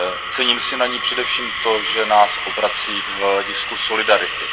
Cením si na ní především to, že nás obrací k hledisku solidarity.